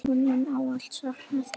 Ég mun ávallt sakna þín.